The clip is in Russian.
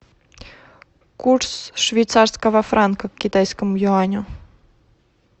курс швейцарского франка к китайскому юаню